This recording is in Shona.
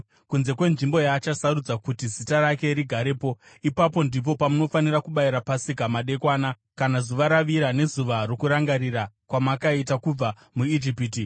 kunze kwenzvimbo yaachasarudza kuti Zita rake rigarepo. Ipapo ndipo pamunofanira kubayira Pasika madekwana, kana zuva ravira, nezuva rokurangarira kwamakaita kubva muIjipiti.